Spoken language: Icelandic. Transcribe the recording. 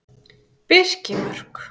Birkimörk